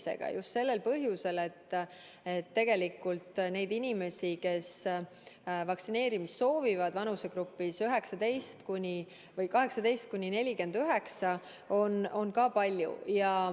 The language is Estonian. Teeme seda just sellel põhjusel, et neid inimesi, kes end 18–49‑aastaste vanusegrupis vaktsineerida soovivad, on palju.